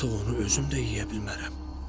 Artıq onu özüm də yeyə bilmərəm.